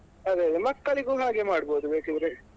ಅದೇ ಅದೇ ಮಕ್ಕಳಿಗೂ ಹಾಗೆ ಮಾಡ್ಬೋದು ಬೇಕಿದ್ರೆ.